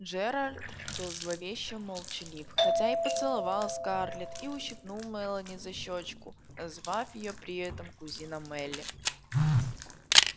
джералд был зловеще молчалив хотя и поцеловал скарлетт и ущипнул мелани за щёчку назвав её при этом кузина мелли